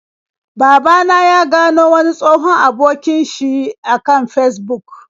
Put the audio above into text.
Baba na ya gano wani tsohon abokin sh a kan Fesbuk.